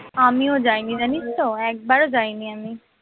আমিও যাইনি জানিস তো একবারও যাইনি আমি